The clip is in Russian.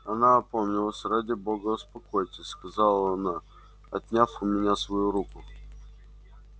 она опомнилась ради бога успокойтесь сказала она отняв у меня свою руку